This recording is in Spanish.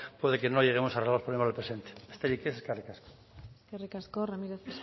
puede que no lleguemos a arreglar los problemas del presente besterik ez eskerrik asko eskerrik asko ramírez